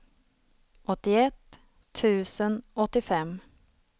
åttioett tusen åttiofem